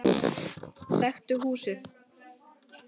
Þekkti húsið.